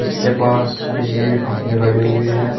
इसके पास बिजली के खंभे खड़े हुए हैं।